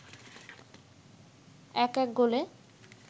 ১-১ গোলে